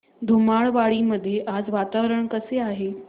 धुमाळवाडी मध्ये आज वातावरण कसे आहे